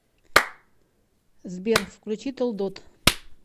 сбер включи толдот